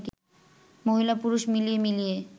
মহিলা-পুরুষ মিলিয়ে মিলিয়ে